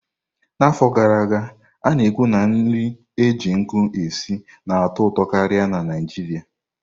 Ọtụtụ afọ gara aga, a na-ekwu na nri e ji nkụ esi na-atọ ụtọ karịa na Naịjirịa.